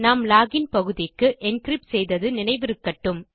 நாம் லோகின் பகுதிக்கு என்கிரிப்ட் செய்தது நினைவிருக்கட்டும்